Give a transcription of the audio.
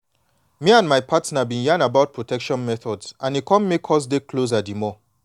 me and my partner been yan about protection methods and e come make us dey closer the more